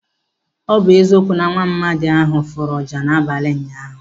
Ọ bụ eziokwu na nwaamadi ahụ fụrụ ọjà n'abalị ụnyaahụ.